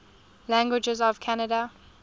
languages of canada